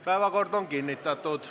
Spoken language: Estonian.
Päevakord on kinnitatud.